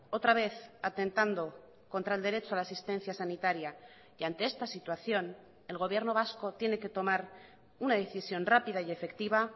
otra vez atentando contra el derecho a la asistencia sanitaria y ante esta situación el gobierno vasco tiene que tomar una decisión rápida y efectiva